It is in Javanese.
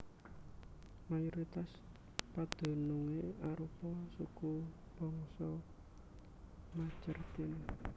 Mayoritas padunungé arupa sukubangsa Majeerteen